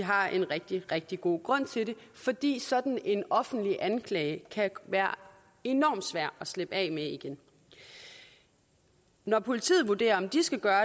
har en rigtig rigtig god grund til det fordi sådan en offentlig anklage kan være enormt svær at slippe af med igen når politiet vurderer om de skal gøre